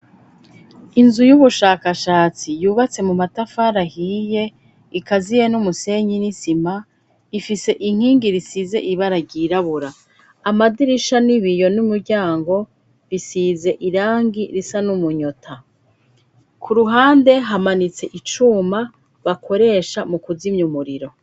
inzu y'ubushakashatsi yubatse mu matafari ahiye ikaziye n'umusenyi n'izima, ifise inkingi zisize ibara ryirabura. Amadirisha n'ibiyo n'umuryango bisize irangi risa n'umunyota. Ku ruhande hamanitse icuma bakoresha mu kuzimya umuriro.